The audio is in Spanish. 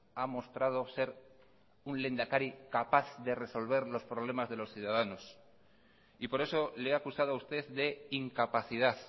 ha mostrado ser un lehendakari capaz de resolver los problemas de los ciudadanos y por eso le he acusado a usted de incapacidad